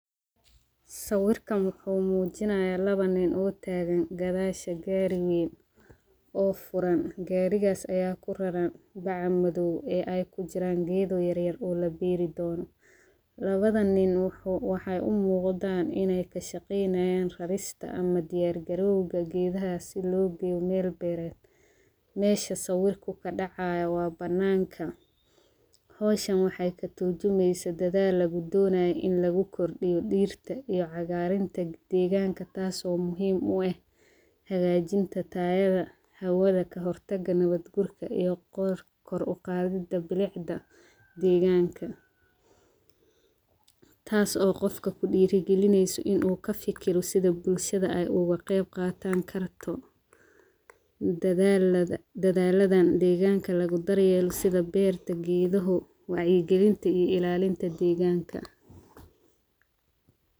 Sawirkan waxuu mujinayaa lawa nin oo taagan gaadasha gaari weyn oo furan. Garigaas ayaa kuraran bacmadoow ee ay ku jiraan geedo yar yar oo la beeri doono. Lawadan nin waxuu waxeey u muqdaan ineey ka shaqeynayaan rarista ama diyaar garowga gedaha si loo geeyo meel beereed . Mesha sawirku ka dhacaayo waa banaanka .Hawshan waxeey ka turjumeysaa dadaal lagu donaayo in lagu kordhiyo dhirta iyo cagaarinta degaanka tasoo muhim u eh hagaajinta tayada hawada, ka hortaga nabad guurka iyo kor uqaadidda bilicda degaanka . Taas oo qofka ku dhiira galineyso in uu ka fikiro sida bulshada ay uga qeyb qaataan karto dadalladaan degaanka lagu daryeelo sida beerta geeduhu ,wacyigelinta iyo ilaalinta degaanka.